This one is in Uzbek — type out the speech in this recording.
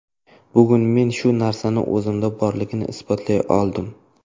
Bugun men shu narsa o‘zimda borligini isbotlay oldim.